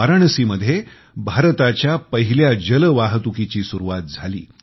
वाराणसीमध्ये भारताच्या पहिल्या जलवाहतुकीची सुरवात झाली